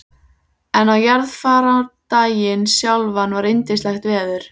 En á jarðarfarardaginn sjálfan var yndislegt veður.